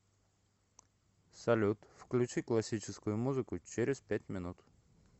салют включи классическую музыку через пять минут